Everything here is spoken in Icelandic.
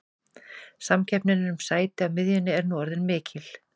Samkeppnin um sæti á miðjunni er nú orðin mikil.